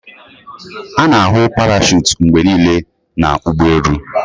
A na-ahụ parachute mgbe niile na ụgbọ elu